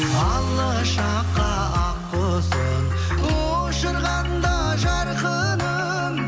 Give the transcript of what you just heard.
алыс жаққа ақ құсын ұшырғанда жарқыным